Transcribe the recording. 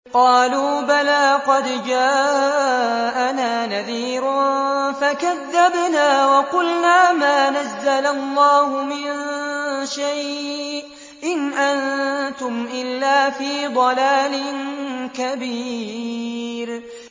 قَالُوا بَلَىٰ قَدْ جَاءَنَا نَذِيرٌ فَكَذَّبْنَا وَقُلْنَا مَا نَزَّلَ اللَّهُ مِن شَيْءٍ إِنْ أَنتُمْ إِلَّا فِي ضَلَالٍ كَبِيرٍ